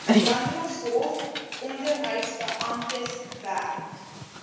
landdroshof onderhoudsbeamptes werk